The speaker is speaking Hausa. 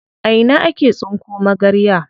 A ina ake tsinko magarya?